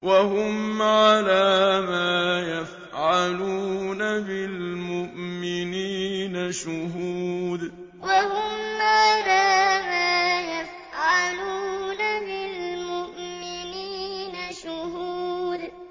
وَهُمْ عَلَىٰ مَا يَفْعَلُونَ بِالْمُؤْمِنِينَ شُهُودٌ وَهُمْ عَلَىٰ مَا يَفْعَلُونَ بِالْمُؤْمِنِينَ شُهُودٌ